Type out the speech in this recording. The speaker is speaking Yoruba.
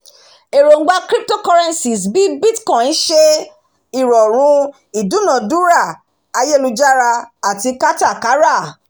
èròǹgba cryptocurrencies bí bitcoin ṣe ìrọ̀rùn ìdúnadúrà ayélujára àti kátàkárà